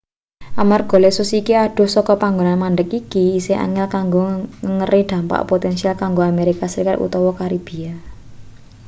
amarga lesus iki adoh saka panggonan mandheg iki isih angel kanggo nengeri dampak potensial kanggo amerika serikat utawa karibia